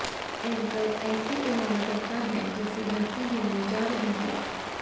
anchor ऐसे एलान करता है जैसे धरती हिलने जा रही हो